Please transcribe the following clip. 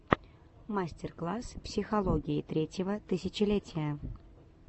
мастер класс психологии третьего тысячелетия